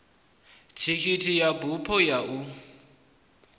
thikhithi ya bufho ya uya